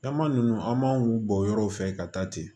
Caman ninnu an m'an bɔ yɔrɔw fɛ ka taa ten